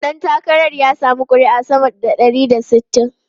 Dan takarar ya samu kuri'u sama da ɗari da sittin.